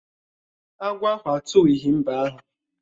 Agwọ ahụ atuwughi mbe ahụ